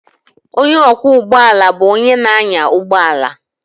Onye ọkwọ ụgbọ ala bụ onye na-anya ụgbọ ala